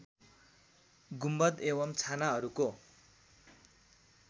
गुम्बद एवम् छानाहरूको